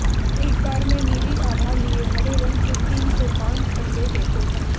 एक बार में नीली आभा लिए हरे रंग के तीन से पांच अंडे देते हैं